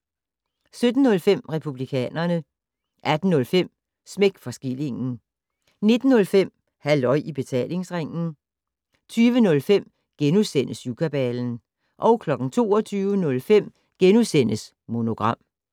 17:05: Republikanerne 18:05: Smæk for skillingen 19:05: Halløj i Betalingsringen 20:05: Syvkabalen * 22:05: Monogram *